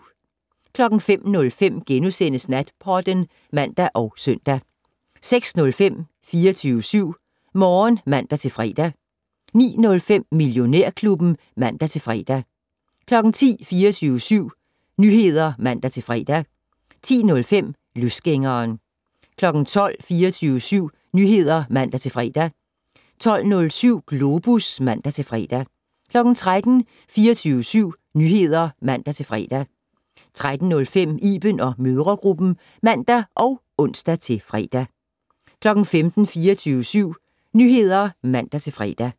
05:05: Natpodden *(man og søn) 06:05: 24syv Morgen (man-fre) 09:05: Millionærklubben (man-fre) 10:00: 24syv Nyheder (man-fre) 10:05: Løsgængeren 12:00: 24syv Nyheder (man-fre) 12:07: Globus (man-fre) 13:00: 24syv Nyheder (man-fre) 13:05: Iben & mødregruppen (man og ons-fre) 15:00: 24syv Nyheder (man-fre)